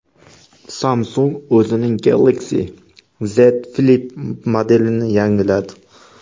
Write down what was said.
Samsung o‘zining Galaxy Z Flip modelini yangiladi.